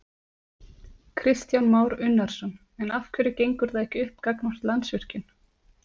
Kristján Már Unnarsson: En af hverju gengur það ekki upp gagnvart Landsvirkjun?